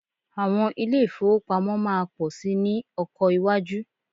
Àwọn ilé ìfowópamọ́ máa pọ̀ síi ní ọkọ iwájú